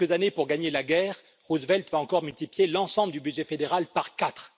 En quelques années, pour gagner la guerre, Roosevelt va encore multiplier l'ensemble du budget fédéral par quatre.